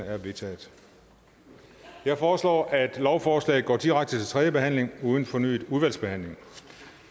er vedtaget jeg foreslår at lovforslaget går direkte til tredje behandling uden fornyet udvalgsbehandling